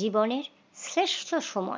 জীবনের শ্রেষ্ঠ সময়